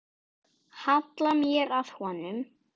Halla mér að honum.